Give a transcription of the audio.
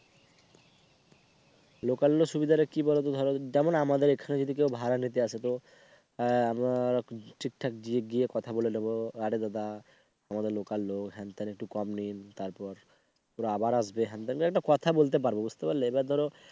লোকান্য সুবিধাটা কি বলতো ধরো যেমন আমাদের এখানে যদি কেউ ভাড়া নিতে আসে তো আমরা ঠিকঠাক গিয়ে কথা বলে নেব আরে দাদা আমাদের লোকাল লোক হ্যান তেন একটু। একটু কম নিন তারপর ওরা আবার আসবে একটা কথা বলতে পারব বুঝতে পারলে। এবার ধরো